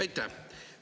Aitäh!